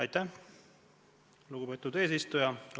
Aitäh, lugupeetud eesistuja!